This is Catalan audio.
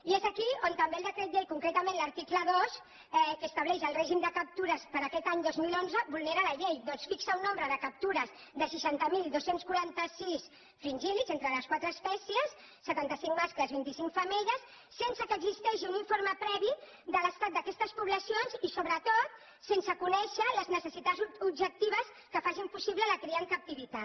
i és aquí on també el decret llei concretament l’article dos que estableix el règim de captures per a aquest any dos mil onze vulnera llei ja que fixa un nombre de captures de seixanta mil dos cents i quaranta sis fringíl·lids entre les quatre espècies setanta cinc mascles i vint i cinc femelles sense que existeixi un informe previ de l’estat d’aquestes poblacions i sobretot sense conèixer les necessitats objectives que facin possible la cria en captivitat